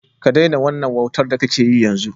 Ka daina wannan wautar da kake yi, yanzu!